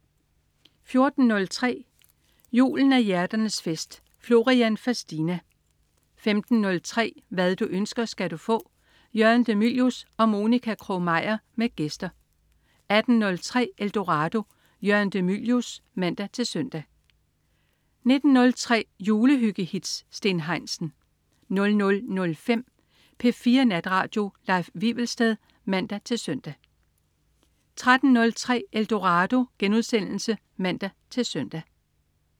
14.03 Julen er hjerternes fest. Florian Fastina 15.03 Hvad du ønsker, skal du få. Jørgen de Mylius og Monica Krog-Meyer med gæster 18.03 Eldorado. Jørgen de Mylius (man-søn) 19.03 Julehyggehits. Steen Heinsen 00.05 P4 Natradio. Leif Wivelsted (man-søn) 03.03 Eldorado* (man-søn)